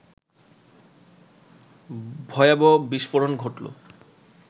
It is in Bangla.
ভয়াবহ বিস্ফোরণ ঘটল